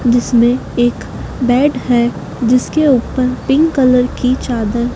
जिसमें एक बेड है जिसके ऊपर पिंक कलर की चादर--